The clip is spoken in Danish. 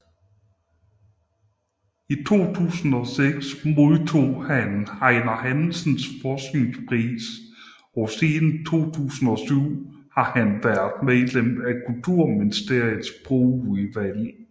I 2006 modtog han Einar Hansens Forskningspris og siden 2007 har han været medlem af Kulturministeriets Sprogudvalg